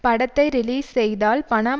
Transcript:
படத்தை ரிலீஸ் செய்தால் பணம்